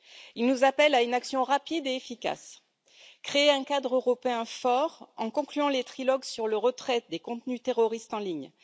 Ils nous appellent à une action rapide et efficace créer un cadre européen fort en concluant les trilogues sur le retrait des contenus terroristes en ligne.